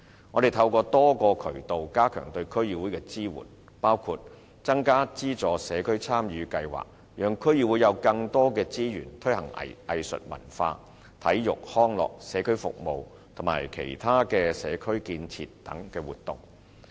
我們透過多個渠道加強對區議會的支援，包括增加社區參與計劃的撥款，讓區議會有更多資源推行藝術文化、體育、康樂、社區服務和其他社區建設等活動。